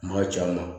N m'a c'a ma